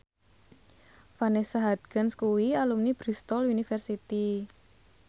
Vanessa Hudgens kuwi alumni Bristol university